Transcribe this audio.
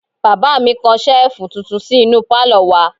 Bàbá mi kan Ṣẹ́ẹ̀fù tuntun sí inú pálọ̀ wa